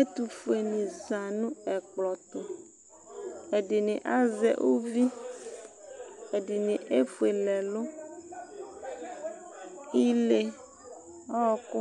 Ɛtʋfueni zã nʋ ɛkplɔ tʋ, ɛdini azɛ uvi, ɛdini efuele ɛlʋ Ile, ɔkʋ,